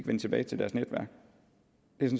vende tilbage til deres netværk